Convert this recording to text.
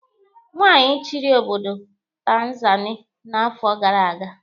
Nwaanyị chịrị obodo Tanzania n'afọ gara aga.